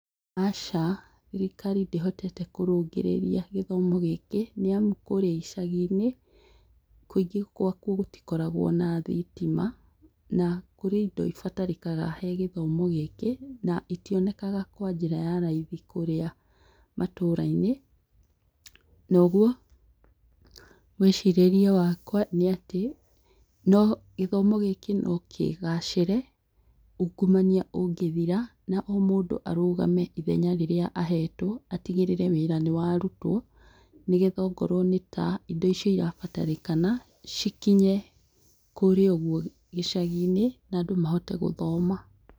Aca thirikari ndĩhotete kũrũngĩrĩria gĩthomo gĩkĩ nĩamu kũrĩa icaginĩ kũingĩ gwakuo gũtikoragwo na thitima na kũrĩ indo ibatarikaga he gĩthomo gĩkĩ na itionekaga kwa njĩra ya raithi kũrĩa matũrainĩ noguo mwĩcirĩrie wakwa nĩ atĩ no gĩthomo gĩkĩ no kĩgacĩre ũngumania ũngĩthira na o mũndũ arũgame ithenya rĩrĩa ahetwo atigĩrĩre wĩra nĩwarutwo nĩgetha ongorwo nĩta indo ici irabatarĩkana cikinye kũria ũguo gĩcaginĩ na andũ mahote gũthoma.